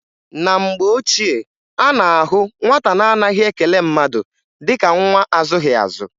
Na mgbe ochie, a na-ahụ nwata na-anaghị ekele mmadụ dịka nwa azụghị azụ.